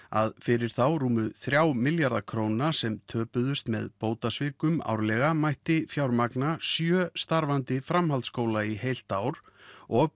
að fyrir þá rúmu þrjá milljarða króna sem töpuðust með bótasvikum mætti fjármagna sjö starfandi framhaldsskóla í heilt ár og